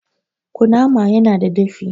Kunnama ya na da dafi